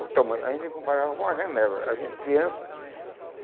o tamanho a gente comparava com uma janela, a gente criança.